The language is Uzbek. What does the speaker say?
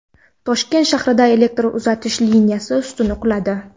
Toshkent shahrida elektr uzatish liniyasi ustuni quladi .